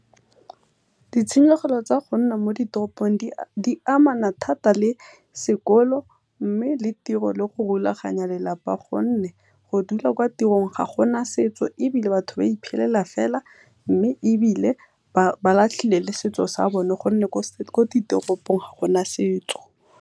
Ditshenyegelo tsa go nna mo ditoropong di amana thata le sekolo mme le tiro le go rulaganya lelapa gonne, go dula kwa tirong ga gona setso ebile batho ba iphelela fela mme ebile ba latlhile le setso sa bone gonne ko ditoropong ga gona setso.